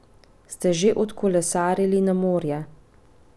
Ste že odkolesarili na morje?